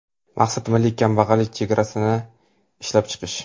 maqsad milliy kambag‘allik chegarasini ishlab chiqish.